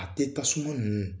A tɛ tasuma nunnu